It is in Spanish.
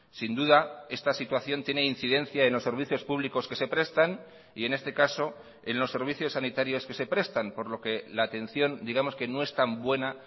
sin duda esta situación tiene incidencia en los servicios públicos que se prestan y en este caso en los servicios sanitarios que se prestan por lo que la atención digamos que no es tan buena